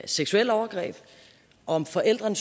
seksuelle overgreb om forældre